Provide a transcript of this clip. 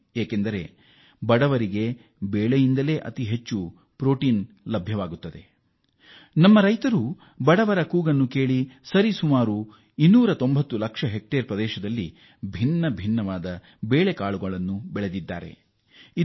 ನಮ್ಮ ಬಡ ಜನರ ಅಗತ್ಯಗಳನ್ನು ಪೂರೈಸಲು ರೈತರು 290 ಹೆಕ್ಟೇರ್ ಭೂಮಿಯಲ್ಲಿ ವಿವಿಧ ಬೇಳೆ ಕಾಳುಗಳನ್ನು ಬೆಳೆದಿದ್ದಾರೆ ಎಂದು ತಿಳಿಸಲು ಹರ್ಷಿಸುತ್ತೇನೆ